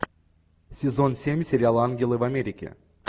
сезон семь сериала ангелы в америке